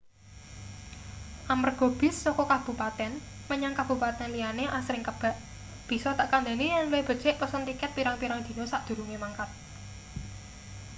amarga bis saka kabupaten menyang kabupaten liyane asring kebak bisa tak kandani yen luwih becik pesen tiket pirang-pirang dina sadurunge mangkat